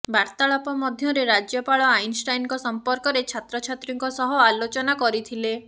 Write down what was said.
ବାର୍ତାଳାପ ମଧ୍ୟରେ ରାଜ୍ୟପାଳ ଆଇନଷ୍ଟାଇନଙ୍କ ସମ୍ପର୍କରେ ଛାତ୍ରଛାତ୍ରୀଙ୍କ ସହ ଆଲୋଚନା କରିଥିଲେ